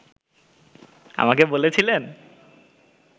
আমাকে বলেছিলেন